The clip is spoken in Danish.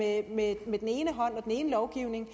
at man med den ene lovgivning